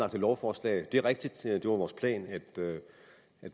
et lovforslag det er rigtigt at det var vores plan at